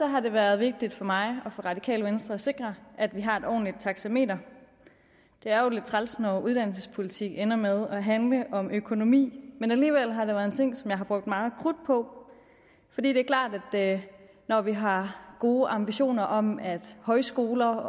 har det været vigtigt for mig og for radikale venstre at sikre at vi har et ordentligt taxameter det er jo lidt træls når uddannelsespolitik ender med at handle om økonomi men alligevel har det været en ting som jeg har brugt meget krudt på for det er klart at når vi har gode ambitioner om at højskoler